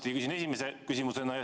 Seda küsin esimese küsimusena.